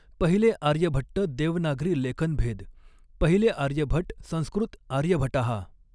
पहिले आर्यभट्ट देवनागरी लेखनभेद पहिले आर्यभट संस्कृत आर्यभटः